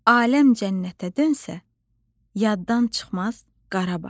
Aləm cənnətə dönsə, yaddan çıxmaz Qarabağ.